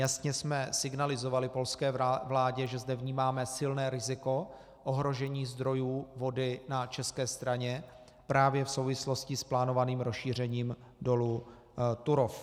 Jasně jsme signalizovali polské vládě, že zde vnímáme silné riziko ohrožení zdrojů vody na české straně právě v souvislosti s plánovaným rozšířením dolu Turów.